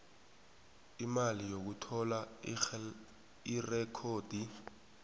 imali yokuthola irekhodi